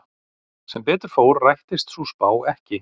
Sem betur fór rættist sú spá ekki.